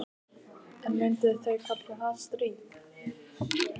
En myndu þau kalla það stríð?